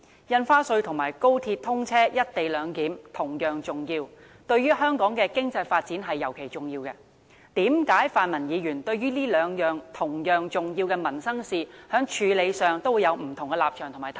印花稅和高鐵通車、"一地兩檢"同樣重要，對於香港的經濟發展尤其重要，為何泛民議員對於這兩項同樣重要的民生事宜，在處理上會有不同立場和態度？